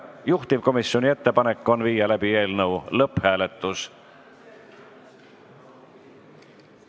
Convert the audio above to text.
Juhtivkomisjoni ettepanek on viia läbi eelnõu lõpphääletus.